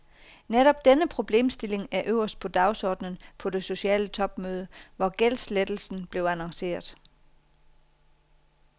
Netop denne problemstiling er øverst på dagsordenen på det sociale topmøde, hvor gældslettelsen blev annonceret.